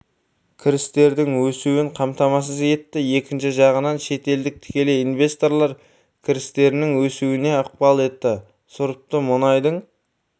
кірістердің өсуін қамтамасыз етті екінші жағынан шетелдік тікелей инвесторлар кірістерінің өсуіне ықпал етті сұрыпты мұнайдың